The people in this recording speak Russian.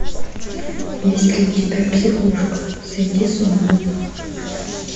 есть ли у тебя психушка сойти с ума